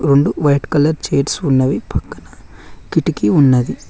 రెండు white colour chairs ఉన్నవి పక్కన కిటికీ ఉన్నది.